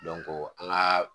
an ŋaa